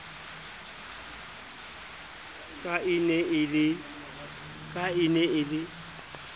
ka e ne e le